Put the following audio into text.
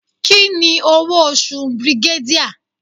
Kini owo osu brigadier?